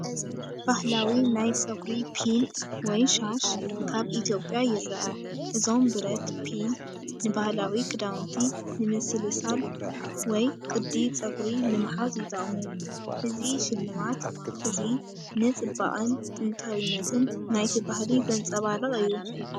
ባህላዊ ናይ ጸጉሪ ፒን ወይ ሻሽ ካብ ኢትዮጵያ ይርአ። እዞም ብረት ፒን ንባህላዊ ክዳውንቲ ንምስልሳል ወይ ቅዲ ጸጉሪ ንምሓዝ ይጥቀሙ። እዚ ስልማት እዚ ንጽባቐን ጥንታዊነትን ናይቲ ባህሊ ዘንጸባርቕ እዩ።